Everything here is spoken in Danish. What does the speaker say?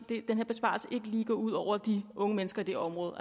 lige gå ud over de unge mennesker i det område